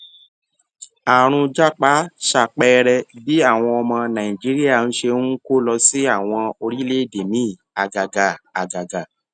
àrùn japa ṣàpẹẹrẹ bí àwọn ọmọ nàìjíríà ṣe ń kó lọ sí àwọn orílèèdè míì àgàgà àgàgà